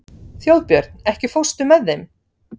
Þjóðbjörn, ekki fórstu með þeim?